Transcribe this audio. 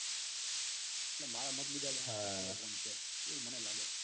જો મતલબ મારા માટે મુજબ હા ફોન છે એવું મને લાગે છે.